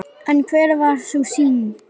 En hver var sú synd?